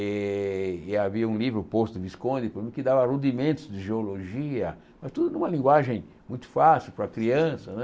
E e havia um livro, O Poço do Visconde, que dava rudimentos de geologia, mas tudo numa linguagem muito fácil para a criança não é.